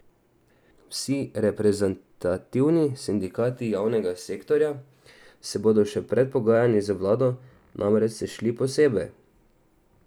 Vsi reprezentativni sindikati javnega sektorja se bodo še pred pogajanji z vlado namreč sešli posebej.